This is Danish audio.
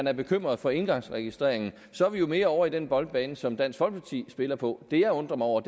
er bekymret for engangsregistreringen og så er vi jo mere over på den boldbane som dansk folkeparti spiller på det jeg undrer mig over